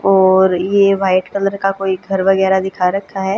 और ये white colour का कोई घर वगैरा दिखा रखा है।